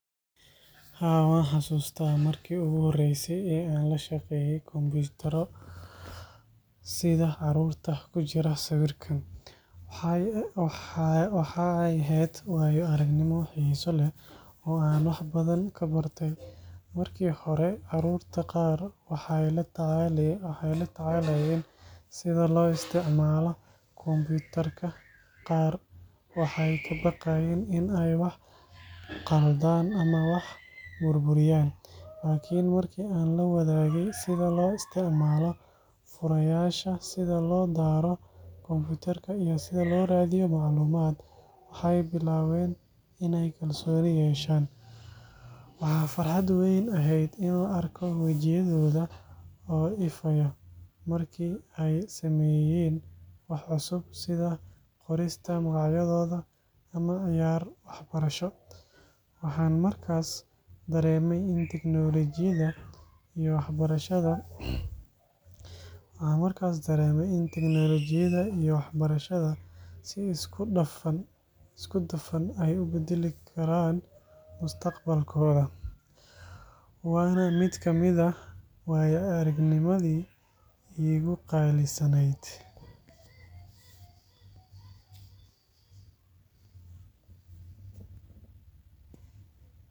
Haa, waan xasuustaa markii ugu horreysay ee aan la shaqeeyay kombiyuutarro sida carruurta ku jira sawirkan. Waxa ay ahayd waayo-aragnimo xiiso leh oo aan wax badan ka bartay. Markii hore carruurta qaar waxay la tacaalayeen sida loo isticmaalo kombiyuutarka – qaar waxay ka baqayeen in ay wax khaldaan ama wax burburiyaan. Laakiin markii aan la wadaagay sida loo isticmaalo furayaasha, sida loo daaro kombiyuutarka, iyo sida loo raadiyo macluumaad, waxay bilaabeen in ay kalsooni yeeshaan. Waxaa farxad weyn ahayd in la arko wejiyadooda oo ifaya markii ay sameeyeen wax cusub, sida qorista magacyadooda ama ciyaar waxbarasho. Waxaan markaas dareemay in teknoolojiyadda iyo waxbarashada si isku dhafan ay u beddeli karaan mustaqbalkooda. Waana mid ka mid ah waaya-aragnimadii iigu qaalisanayd.